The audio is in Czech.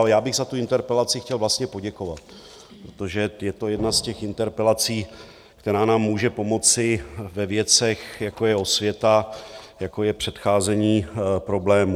Ale já bych za tu interpelaci chtěl vlastně poděkovat, protože je to jedna z těch interpelací, která nám může pomoci ve věcech, jako je osvěta, jako je předcházení problémů.